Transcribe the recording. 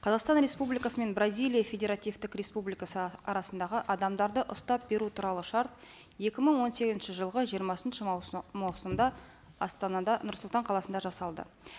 қазақстан республикасы мен бразилия федеративтік республикасы арасындағы адамдарды ұстап беру туралы шарт екі мың он сегізінші жылғы жиырмасыншы маусымда астанада нұр сұлтан қаласында жасалды